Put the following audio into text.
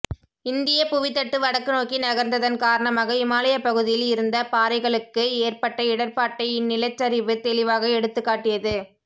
இந்தியப் புவித்தட்டு வடக்கு நோக்கி நகர்ந்ததன் காரணமாக இமாலயப் பகுதியில் இருந்த பாறைகளுக்கு ஏற்பட்ட இடர்பாட்டை இந்நிலச்சரிவு தெளிவாக எடுத்துக்காட்டியது